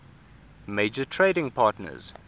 major trading partners